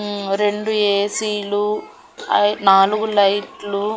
హ్మ్మ్ రెండు ఏ_సి లు నాలుగు లైట్ లు.